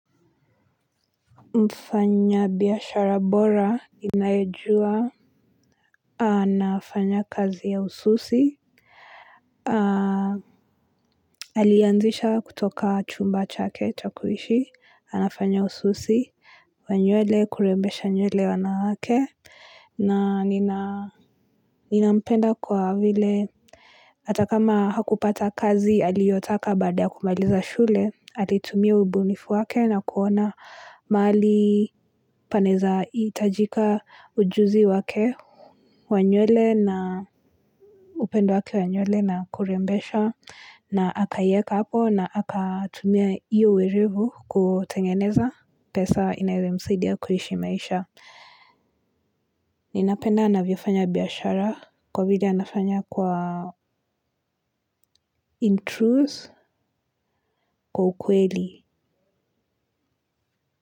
Mfanya biashara bora, ninaejua, anafanya kazi ya ususi, alianzisha kutoka chumba chake chakuishi, anafanya ususi, wa nyuele, kurembesha nyuele wanawake, na nampenda kwa vile hata kama hakupata kazi aliotaka baada ya kumaliza shule alitumia ubunifu wake na kuona mahali panaeza itajika ujuzi wake, upendo wake wanyuele na kurembesha na akayeka hapo na akatumia iyo uwerevu kutengeneza pesa inaiyo msidia kuhishi maisha. Ninapenda anavyofanya biyashara kwa vile anafanya kwa in truth kwa ukweli.